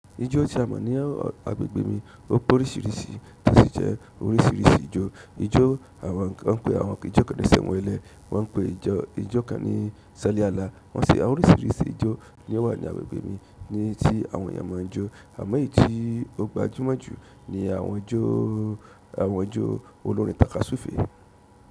Ijó tí a mọ̀ ní agbègbè mi ó pe órísírísí, tó sì je orísírísí ijó. Ijó àwọn kan pe, wọ́n n pe àwọn ijó kán ní sẹ̀nwẹlẹ́, wọ́n pè ijó kan ní sẹ́lí ààlà. Wọ́n sẹ́ àwọn orísírísí ijó ni ó wà ní agbègbè mi ní tí àwọn èèyàn máa ń jọ. Àmọ́ èyí tí ó gbajúmọ̀ jù ní àwọn ijó olórin tàkasúfèé.